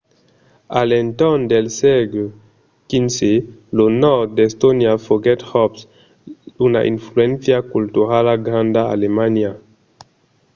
a l’entorn del sègle xv lo nòrd d’estònia foguèt jos una influéncia culturala granda d’alemanha